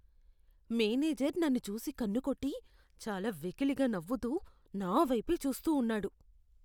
Manager నన్ను చూసి కన్నుకొట్టి, చాలా వెకిలిగా నవ్వుతూ నా వైపే చూస్తూ ఉన్నాడు.